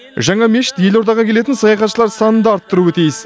жаңа мешіт елордаға келетін саяхатшылар санын да арттыруы тиіс